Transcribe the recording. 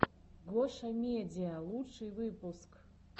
гошамедиа лучший выпуск